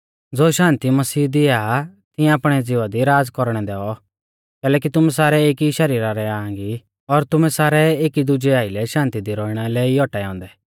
ज़ो शान्ति मसीह दिया आ तिऐं आपणै ज़िवा दी राज़ कौरणै दैऔ कैलैकि तुमै सारै एकी शरीरा रै आंग ई और तुमै सारै एकी दुजै आइलै शान्ति दी रौइणा लै ई औटाऐ औन्दै